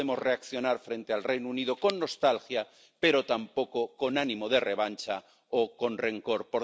No podemos reaccionar frente al Reino Unido con nostalgia, pero tampoco con ánimo de revancha o con rencor.